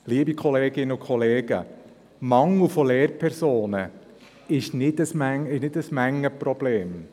Liebe Kolleginnen und Kollegen, der Mangel von Lehrpersonen ist kein Mengenproblem!